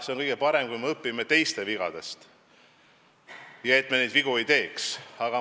See on kõige parem, kui me õpime teiste vigadest ja jätame ise vead tegemata.